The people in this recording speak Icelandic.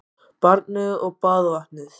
Barnið og baðvatnið